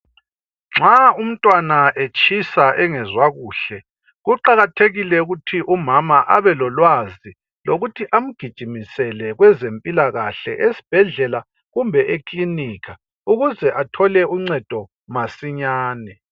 Nxa umtwana etshisa engezwa kuhle, kuqakathekile ukuthi umama abelolwazi lokuthi amgijumisele kwenzempilakahle kumbe ekilinika ukuze athole uncedo masinyane